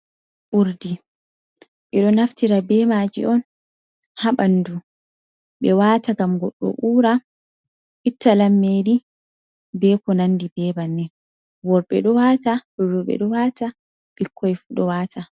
Urdi, ɓe ɗo naftira be maaji on ha ɓandu, ɓe waata ngam goɗɗo uura, itta lammeli, be ko nandi be bannin, worɓe ɗo waata, roɓe ɗo waata ɓikkoy fu ɗo waata.